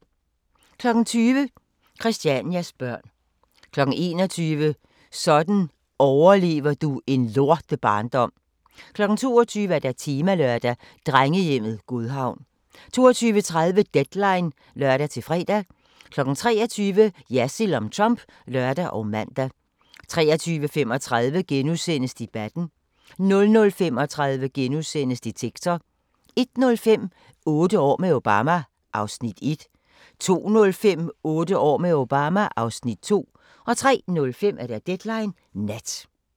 20:00: Christianias børn 21:00: Sådan overlever du en lortebarndom 22:00: Temalørdag: Drengehjemmet Godhavn 22:30: Deadline (lør-fre) 23:00: Jersild om Trump (lør og man) 23:35: Debatten * 00:35: Detektor * 01:05: Otte år med Obama (Afs. 1) 02:05: Otte år med Obama (Afs. 2) 03:05: Deadline Nat